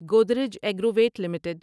Godrej Agrovet limited